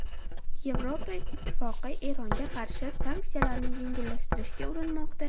Yevropa Ittifoqi Eronga qarshi sanksiyalarni yengillashtirishga urinmoqda.